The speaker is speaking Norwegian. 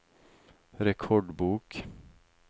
rekordbok